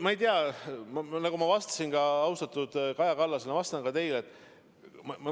Ma ei tea, nagu ma vastasin austatud Kaja Kallasele, ma vastan ka teile.